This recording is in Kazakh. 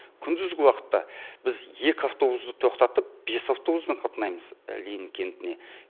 күндізгі уақытта біз екі автобусты тоқтатып бес автобуспен қатынаймыз ленин кентіне